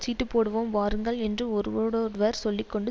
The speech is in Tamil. சீட்டுப்போடுவோம் வாருங்கள் என்று ஒருவரோடொருவர் சொல்லி கொண்டு